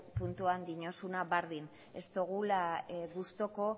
puntuan diozuna berdin ez dugula gustuko